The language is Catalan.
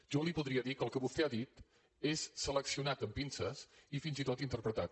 jo li podria dir que el que vostè ha dit és seleccionat amb pinces i fins i tot interpretat